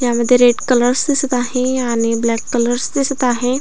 यामध्ये red colours दिसत आहे आणि ब्लॅक कलर्स दिसत आहे.